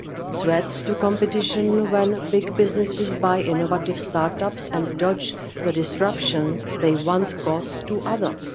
threats to competition when big businesses buy innovative start ups and dodge the disruption they once caused to others